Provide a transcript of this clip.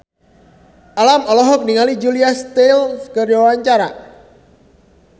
Alam olohok ningali Julia Stiles keur diwawancara